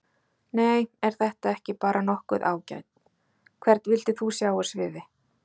Nei er þetta ekki bara nokkuð ágætt Hvern vildir þú sjá á sviði?